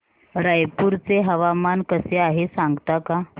रायपूर चे हवामान कसे आहे सांगता का